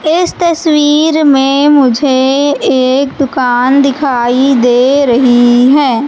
इस तस्वीर में मुझे एक दुकान दिखाई दे रही है।